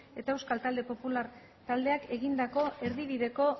eta euskal talde popular taldeak egindako erdibideko